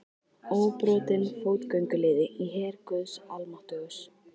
Óbrotinn fótgönguliði í her guðs almáttugs.